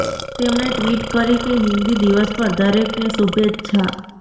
તેમણે ટ્વીટ કરી કે હિંદી દિવસ પર દરેકને શુભેચ્છા